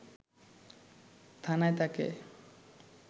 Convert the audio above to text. থানায় তাকে